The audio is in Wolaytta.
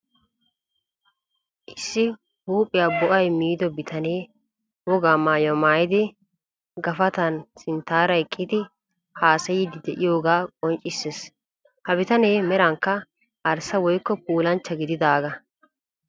Issi huuphiyaa bo''ay miido bitanee wogaa maayuwaa maayidi gafatan sinttaara eqqidi haasayidi de'iyoogaa qonccisses. Ha bitanee merankka arssa woykko puulanchcha gididaagaa.